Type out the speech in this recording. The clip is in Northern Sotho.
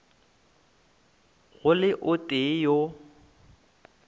go le o tee yo